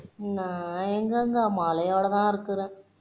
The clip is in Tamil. நான் எங்கங்க மழையோட தான் இருக்குறேன்